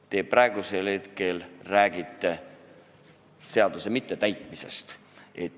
Te räägite praegu seaduse mittetäitmisest.